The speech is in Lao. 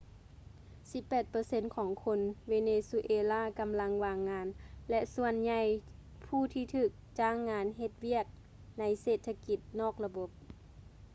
ສິບແປດເປີເຊັນຂອງຄົນເວເນຊູເອລາກໍາລັງວ່າງງານ ແລະ ສ່ວນໃຫຍ່ຜູ້ທີ່ຖືກຈ້າງງານເຮັດວຽກໃນເສດຖະກິດນອກລະບົບ